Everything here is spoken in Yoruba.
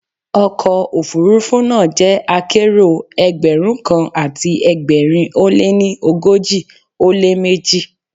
Ọkọ̀ òfuurufú náà jẹ́ akérò Ẹgbẹ̀rún kan àti ẹgbẹ̀rin ó lé ní ogójì ó lé méjì.